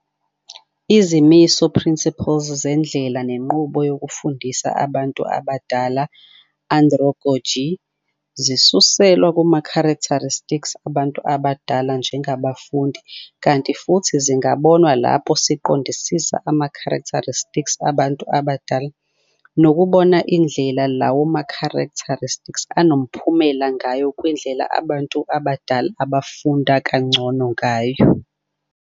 Izimiso, principles, zendlela nenqubo yokufundisa abantu abadala, androgogy, zisuselwa kuma-characteristics abantu abadala njengabafundi kanti futhi zingabonwa lapho siqondisisa ama-characteristics abantu abadala, nokubona indlela lawo ma-characteristics anomphumela ngayo kwindlela abantu abadala abafunda kangcono ngayo.